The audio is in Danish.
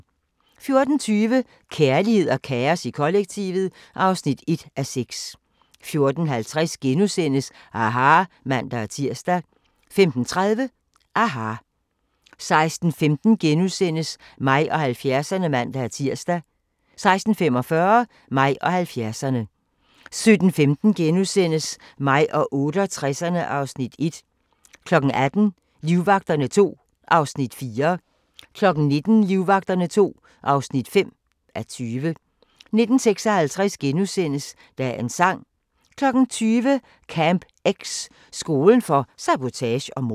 14:20: Kærlighed og kaos i kollektivet (1:6) 14:50: aHA! *(man-tir) 15:30: aHA! 16:15: Mig og 70'erne *(man-tir) 16:45: Mig og 70'erne 17:15: Mig og 68'erne (Afs. 1)* 18:00: Livvagterne II (4:20) 19:00: Livvagterne II (5:20) 19:56: Dagens sang * 20:00: Camp X – skolen for sabotage og mord